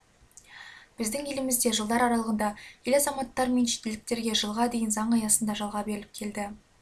біздің елімізде жылдар аралығында ел азаматтары мен шетелдіктерге жылға дейін заң аясында жалға беріліп келді